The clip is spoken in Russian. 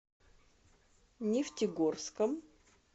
нефтегорском